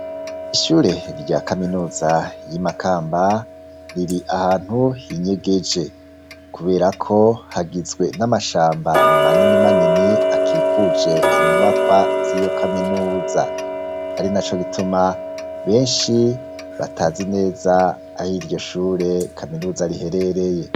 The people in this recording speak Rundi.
ishure rya kaminuza yi Makamba riri ahantu hinyegeje kubera ko hagizwe n'amashamba manini manini akikuje inyubakwa z'iyo kaminuza ari na co gituma benshi batazi neza ahi iryo shure kaminuza riherereye.